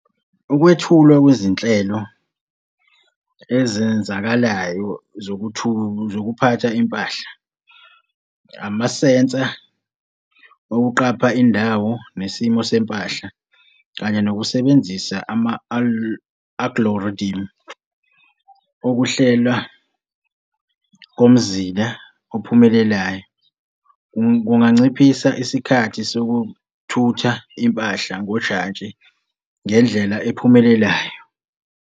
Ukwethulwa kwizinhlelo ezenzakalayo zokuphatha impahla, amasensa okuqapha indawo nesimo sempahla kanye nokusebenzisa ama-algorithm, ukuhlelwa komzila ophumelelayo kunganciphisa isikhathi sokuthutha impahla ngojantshi ngendlela ephumelelayo.